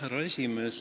Härra esimees!